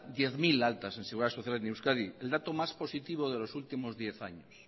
diez mil altas en seguridad social en euskadi el dato más positivo de los últimos diez años